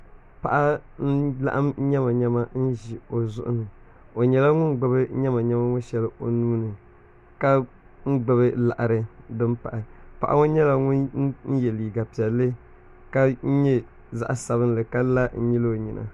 Paɣi n laɣim yɛmayɛma n zi o zuɣu ni o yɛla ŋun gbubi yɛmayɛma ŋɔ ahɛli o nuuni ka gbubi laɣiri n din pahi Paɣi ŋɔ yɛla ŋun yiɛ liiga piɛli ka yɛ zaɣi sabili ka la n nyili o yina